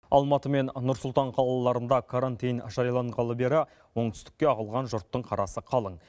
алматы мен нұр сұлтан қалаларында карантин жарияланғалы бері оңтүстікке ағылған жұрттың қарасы қалың